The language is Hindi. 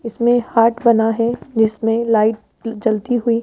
इसमें हार्ट बना है जिसमें लाइट जलती हुई--